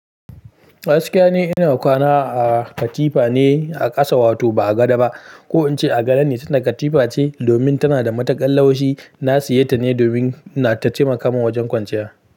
Gaskiya ne ina kwana a katifa ne a ƙasa wato ba a gado ba ko in ce a gado ne sanda katifa ce domin tana da matakan laushi. Na siya ta ne domin na tace tataimaka min mawa wajen kwanciya.